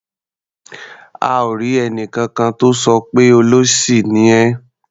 A ò rí ẹnìkankan tó sọ pé "olóṣì ni ẹ́".